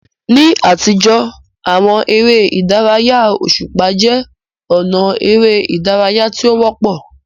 Ní àtijọ́, àwọn eré ìdárayá òṣùpá jẹ́ ọ̀nà eré ìdárayá tí ó wọ́pọ̀.